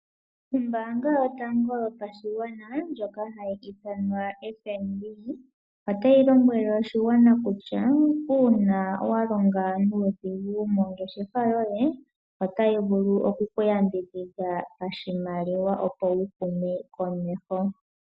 Ombaanga yotango yopashigwana ndjono hayi ithanwa FNB, otayi lombwele oshigwana kutya, uuna wa longa nuudhiginini mongeshefa yoye, otayi vulu okuku yambidhidha pashimaliwa opo wu hume komeho.